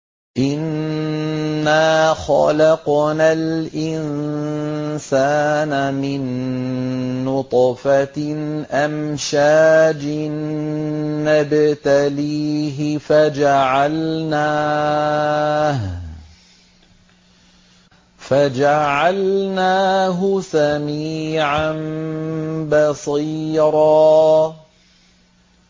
إِنَّا خَلَقْنَا الْإِنسَانَ مِن نُّطْفَةٍ أَمْشَاجٍ نَّبْتَلِيهِ فَجَعَلْنَاهُ سَمِيعًا بَصِيرًا